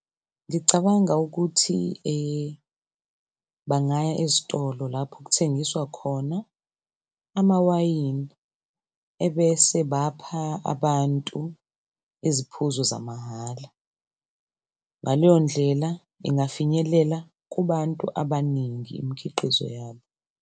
Ngicabanga ukuthi bangaya ezitolo lapho okuthengiswa khona amawayini, ebese bapha abantu iziphuzo zamahhala. Ngaleyo ndlela ingafinyelela kubantu abaningi imikhiqizo yabo.